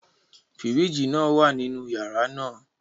Firiji naa wa ninu yara naa